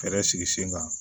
Fɛɛrɛ sigi sen kan